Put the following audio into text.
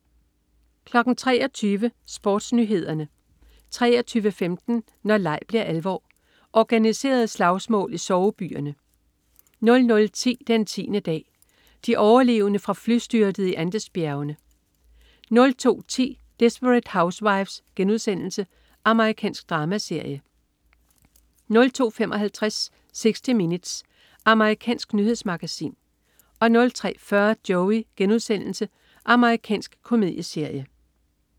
23.00 SportsNyhederne 23.15 Når leg bliver alvor. Organiserede slagsmål i sovebyerne 00.10 Den tiende dag. De overlevende fra flystyrtet i Andesbjergene 02.10 Desperate Housewives.* Amerikansk dramaserie 02.55 60 Minutes. Amerikansk nyhedsmagasin 03.40 Joey.* Amerikansk komedieserie